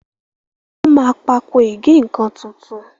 wón má Pákò ìgé-nǹkan títún.